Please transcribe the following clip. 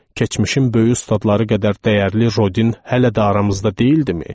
Keçmişin böyük ustadları qədər dəyərli Rodin hələ də aramızda deyildimi?